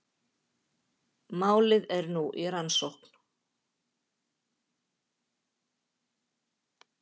Málið er nú í rannsókn